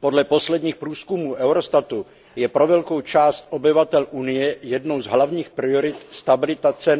Podle posledních průzkumů Eurostatu je pro velkou část obyvatel Unie jednou z hlavních priorit stabilita cen energií.